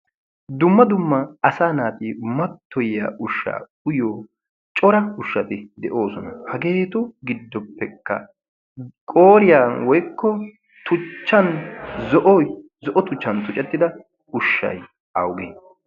Dumma dumma asaa naati mattoyiya ushsha uyyiyo cora ushshati de'oosona. Hagetu giddopekka qooriyaan woykko tuchchan zo'oy, zo'o tuchchan tuccettida ushshay awugee?